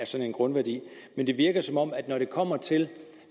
sådan grundværdi men det virker som om at når det kommer til